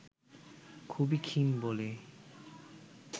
খুবই ক্ষীণ বলেই